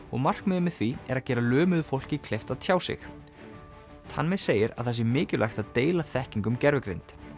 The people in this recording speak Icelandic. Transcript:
og markmiðið með því er að gera fólki kleift að tjá sig tanmay segir að það sé mikilvægt að deila þekkingu um gervigreind